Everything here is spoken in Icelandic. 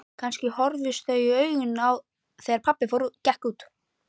Kannski horfðust þau í augu þegar pabbi gekk út.